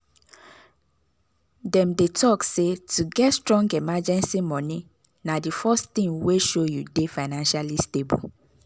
dem dey talk say to get strong emergency money na the first thing wey show you dey financially stable.